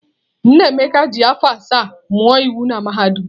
Nnaemeka ji afọ asaa mụọ iwu na mahadum.